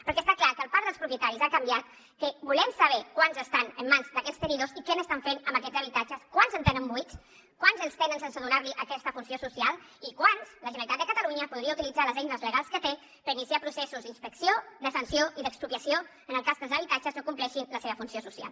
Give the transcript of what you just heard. perquè està clar que el parc dels propietaris ha canviat que volem saber quants estan en mans d’aquests tenidors i què estan fent amb aquests habitatges quants en tenen de buits quants en tenen sense donar aquesta funció social i en quants la generalitat de catalunya podria utilitzar les eines legals que té per iniciar hi processos d’inspecció de sanció i d’expropiació en el cas que els habitatges no compleixin la seva funció social